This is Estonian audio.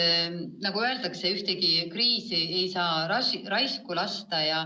Nagu öeldakse, ühtegi kriisi ei saa lasta raisku minna.